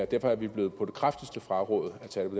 derfor er vi på det kraftigste blevet frarådet at tage det